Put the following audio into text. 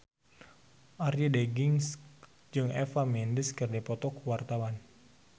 Arie Daginks jeung Eva Mendes keur dipoto ku wartawan